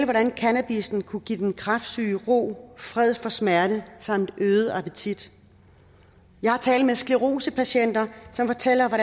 hvordan cannabissen kunne give den kræftsyge ro fred for smerte samt øget appetit jeg har talt med sclerosepatienter som fortæller